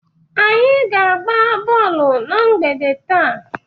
Anyị ga-agba bọọlụ na mgbede taa.